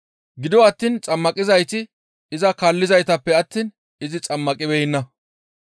Gido attiin xammaqizayti iza kaallizaytappe attiin izi xammaqibeenna.